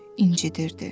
incidirdi.